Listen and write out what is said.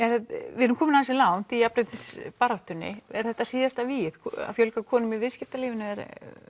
við erum komin ansi langt í jafnréttisbaráttunni er þetta síðasta vígið að fjölga konum í viðskitalífinu eða er